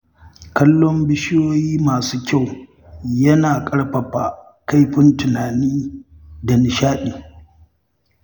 Kallon bishiyoyi masu kyau yana ƙarfafa kaifin tunani da nishaɗi.